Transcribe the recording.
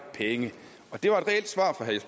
penge